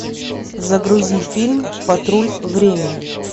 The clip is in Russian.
загрузи фильм патруль времени